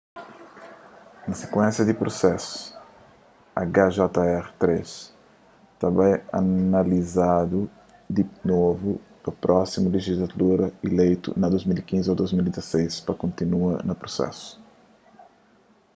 na sikuénsia di prusesu hjr-3 ta bai analizadu di novu pa prósimu lejislatura ileitu na 2015 ô 2016 pa kontinua na prusesu